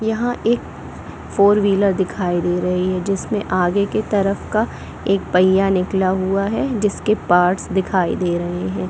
यहाँ एक four wheeler दिखाई दे रही है जिसमें आगे की तरफ का एक पहिया निकला हुआ है जिसके पार्ट्स दिखाई दे रहें हैं।